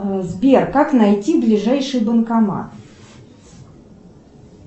сбер как найти ближайший банкомат